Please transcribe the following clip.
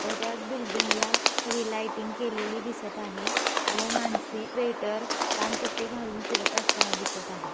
व त्या एक बिल्डिंग सगळी लाईटिंग केलेली दिसत आहे. व माणसे वेटर कान टोपी घालून फिरत असताना दिसत आहे.